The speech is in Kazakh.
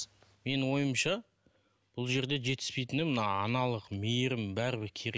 менің ойымша бұл жерде жетіспейтіні мына аналық мейірім бәрібір керек